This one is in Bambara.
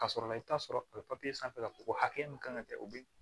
Ka sɔrɔ i bɛ taa sɔrɔ a bɛ sanfɛ k'a fɔ ko hakɛ min ka kan ka kɛ o bi